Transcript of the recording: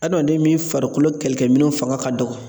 Adamaden min farikolo kɛlɛkɛminɛnw fanga ka dɔgɔ